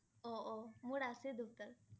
অ' অ' মোৰ আছে দেউতাৰ!